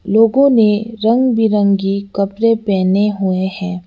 लोगों ने रंग बिरंगी कपड़े पहने हुए हैं।